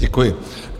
Děkuji.